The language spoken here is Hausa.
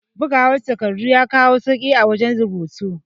Bugawa takardu ya kawo sauke a wajan rubutu